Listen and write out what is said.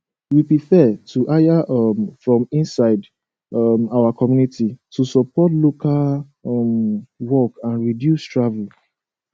we prefer to hire um from inside um our community to support local um work and reduce travel